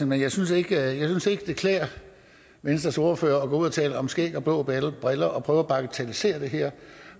men jeg synes ikke det klæder venstres ordfører at gå ud og tale om skæg og blå briller og prøve at bagatellisere det her